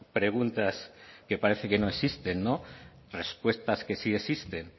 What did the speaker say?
preguntas que parece que no existen respuestas que sí existen